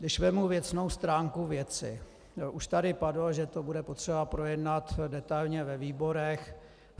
Když vezmu věcnou stránku věci, už tady padlo, že to bude potřeba projednat detailně ve výborech.